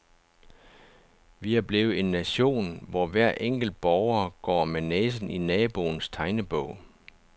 Vi er blevet en nation, hvor hver enkelt borger går med næsen i naboens tegnebog.